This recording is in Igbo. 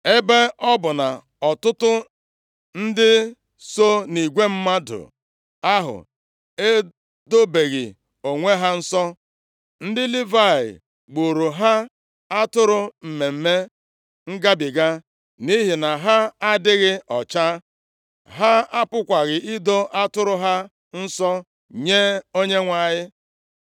Ebe ọ bụ na ọtụtụ ndị so nʼigwe mmadụ ahụ edobeghị onwe ha nsọ, ndị Livayị gbuuru ha atụrụ Mmemme Ngabiga nʼihi na ha adịghị ọcha, ha apụghịkwa ido atụrụ ha nsọ nye Onyenwe anyị.